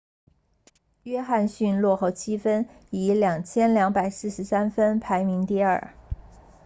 约翰逊落后7分以2243分排名第二